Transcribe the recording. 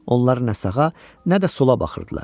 Onlar nə sağa, nə də sola baxırdılar.